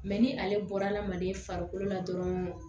Mɛ ni ale bɔra hadamaden farikolo la dɔrɔn